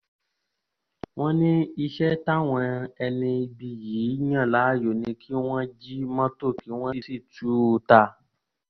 wọ́n ní iṣẹ́ táwọn ẹni ibi yìí yàn láàyò ni kí wọ́n jí mọ́tò kí wọ́n sì tú u ta